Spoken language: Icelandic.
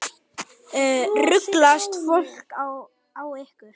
Ruglast fólk á ykkur?